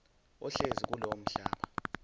ohlezi kulowo mhlaba